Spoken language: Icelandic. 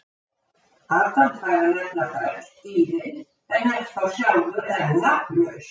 Adam fær að nefna öll dýrin en er þá sjálfur enn nafnlaus: